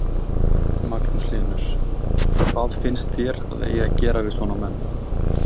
Magnús Hlynur: Hvað finnst þér að eigi að gera við svona menn?